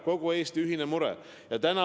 Kogu Eesti ühine mure!